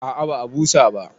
A'a ba a busa ba